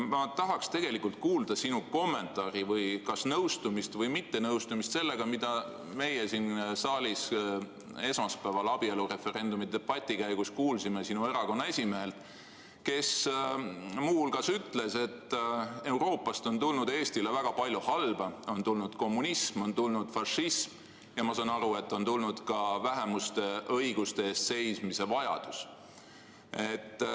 Ma tahaks tegelikult kuulda sinu kommentaari või nõustumist või mittenõustumist sellega, mida me siin saalis esmaspäeval abielureferendumi debati käigus kuulsime sinu erakonna esimehelt, kes muu hulgas ütles, et Euroopast on tulnud Eestile väga palju halba: on tulnud kommunism, on tulnud fašism ja ma saan aru, et on tulnud ka vajadus vähemuste õiguste eest seista.